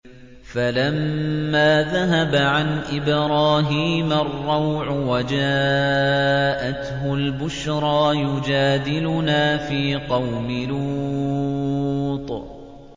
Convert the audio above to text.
فَلَمَّا ذَهَبَ عَنْ إِبْرَاهِيمَ الرَّوْعُ وَجَاءَتْهُ الْبُشْرَىٰ يُجَادِلُنَا فِي قَوْمِ لُوطٍ